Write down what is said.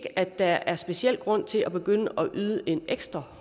der er en speciel grund til at begynde at yde en ekstra